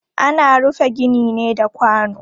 Ana rufe gini ne da kwano.